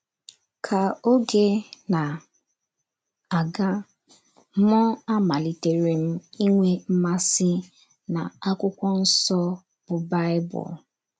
Ka oge na - aga, m amaliterem inwe mmasị na akwụkwọ nso bụ Baịbụl.